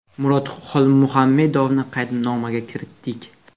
Murod Xolmuhammedovni qaydnomaga kiritdik.